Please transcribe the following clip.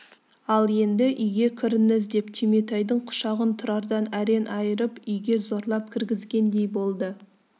ал енді үйге кіріңіз деп түйметайдың құшағын тұрардан әрең айырып үйге зорлап кіргізгендей болды